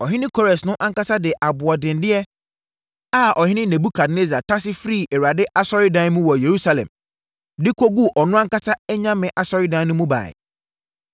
Ɔhene Kores no ankasa de aboɔdenneɛ a ɔhene Nebukadnessar tase firii Awurade asɔredan mu wɔ Yerusalem de kɔguu ɔno ankasa anyame asɔredan mu no baeɛ.